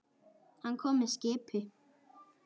Hann kom með skipi.